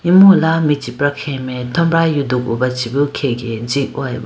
imu ala michipra khege mai thombra yudugu ba chi bi khege ji hoyeba.